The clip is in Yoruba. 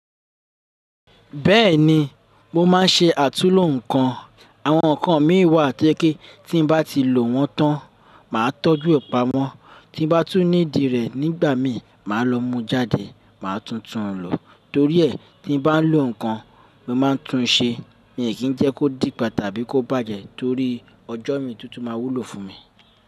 Bẹ́ẹ̀ni, mo máa ń ṣe àtúnlo ǹkan. Àwọn ǹkan mìí wà to je pe tí n bá ti lò wọ́n tán, màá tọ́jú e pamọ́. Tí mo bá tún need rẹ̀ nígbà mi, màá lọ mú jáde, màá tun tun lò. Torí ẹ́ tí n bá ń lò ǹkan, mo máa ń tún un ṣe. Mi ò kí ń jẹ́ kó dìpa tàbí kó bàjẹ́ torí ọjọ́ mi to tun máa wúlò fún mi.